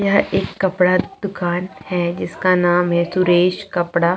यहाँ एक कपड़ा दुकान है जिसका नाम है सुरेश कपड़ा --